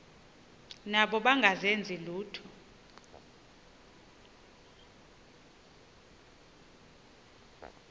nabo bengazenzi lutho